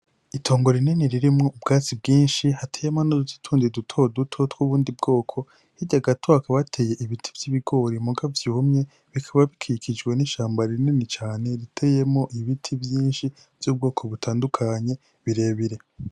Itongo rinini ririmwo ubwatsi bwinshi, hateyemwo n'utundi dutoduto tw'ubundi bwoko, hirya gato hakaba hateye ibiti vy'ibigori muga vyumye, bikaba bikikijwe n'ishamba rinini cane riteyemwo ibiti vyinshi vy'ubwoko butandukanye birebire.